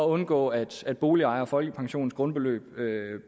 undgå at at boligejere og folkepensionens grundbeløb